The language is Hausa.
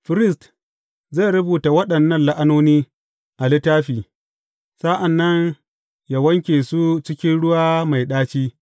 Firist zai rubuta waɗannan la’anoni a littafi, sa’an nan yă wanke su cikin ruwa mai ɗaci.